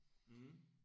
Mh